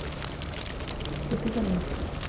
ਕਿਥੇ ਚੱਲੇ ਹੋ